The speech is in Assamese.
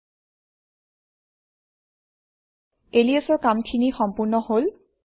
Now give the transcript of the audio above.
ল্টপাউচেগ্ট Alias অৰ কামখিনি সম্পূৰ্ণ হল